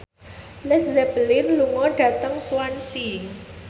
Led Zeppelin lunga dhateng Swansea